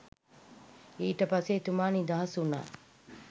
ඊට පස්සේ එතුමා නිදහස් වුණා